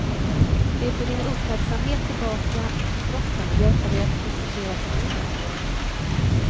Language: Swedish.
Det för din uppmärksamhet tillbaka till kroppen och hjälper dig att fokusera på nuet.